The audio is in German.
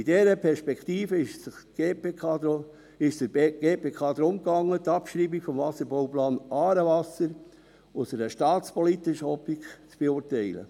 Bei dieser Perspektive ging es der GPK darum, die Abschreibung des Wasserbauplans «Aarewasser» aus einer staatspolitischen Optik zu beurteilen.